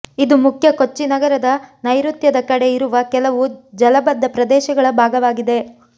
ಇದು ಮುಖ್ಯ ಕೊಚ್ಚಿ ನಗರದ ನೈಋತ್ಯದ ಕಡೆ ಇರುವ ಕೆಲವು ಜಲಬದ್ಧ ಪ್ರದೇಶಗಳ ಭಾಗವಾಗಿದೆ